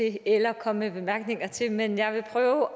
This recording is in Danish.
eller komme med bemærkninger til men jeg vil prøve